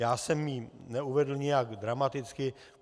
Já jsem ji neuvedl nijak dramaticky.